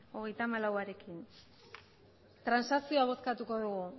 hogeita hamalaurekin transakzioa bozkatuko dugu